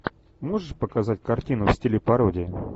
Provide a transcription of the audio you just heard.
можешь показать картину в стиле пародии